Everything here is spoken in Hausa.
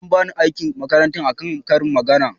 eh an bani aikin makaranta a kan ƙarin magana